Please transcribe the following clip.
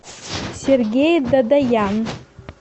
сергей дадаян